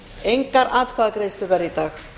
engar atkvæðagreiðslur verða í dag